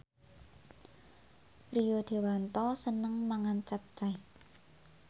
Rio Dewanto seneng mangan capcay